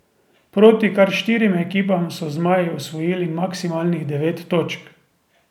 Proti kar štirim ekipam so zmaji osvojili maksimalnih devet točk.